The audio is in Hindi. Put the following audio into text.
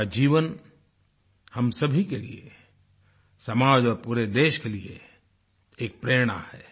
उनकी जीवन हम सभी के लिए समाज और पूरे देश के लिए एक प्रेरणा है